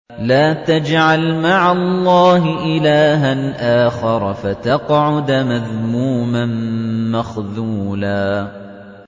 لَّا تَجْعَلْ مَعَ اللَّهِ إِلَٰهًا آخَرَ فَتَقْعُدَ مَذْمُومًا مَّخْذُولًا